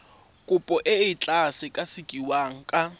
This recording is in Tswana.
kopo e tla sekasekiwa ka